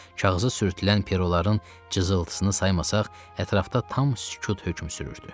Kağıza sürtülən peroların cızıltısını saymasaq, ətrafda tam sükut hökm sürürdü.